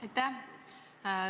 Aitäh!